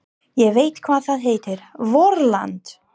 Ég veit hvað það heitir: VORLAND!